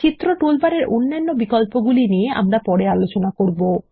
চিত্র টুলবারের অন্যান্য বিকল্পগুলি নিয়ে আমরা পরে আলোচনা করব